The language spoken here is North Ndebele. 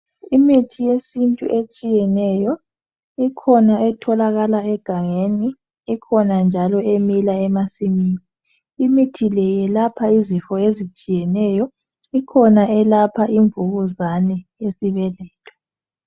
Imithi yesintu etshiyeneyo, ikhona etholakala egangeni, ikhona njalo emila emasimini. Imithi le iyelapha izifo ezitshiyeneyo. Ikhona eyelapha ivukuzane yesibeletho.